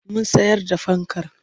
Mun sayar da fankar.